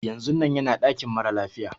Yanzun nan yana dakin mara lafiya.